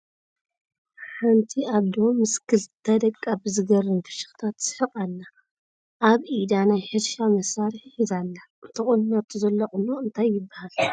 ሓንቲ እዶ ምስ ኽልተ ደቃ ብዝገርም ፍሽክታ ትስሕቅ ኣላ ። ኣብ ኢዳ ናይ ሕርሻ መሳርሒ ሒዛ ኣላ ። ተቆኒናቶ ዘላ ቁኖ እንታይ ይበሃል ?